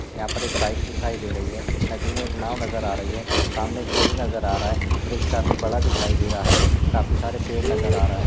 यहाँ पर एक बाइक दिखाई दे रही है नदी मे एक नाँव नजर आ रही है सामने एक ब्रिज नजर आ रहा है ब्रिज काफी बड़ा दिखाई दे रहा है काफी सारे पेड़ नजर आ रहा है।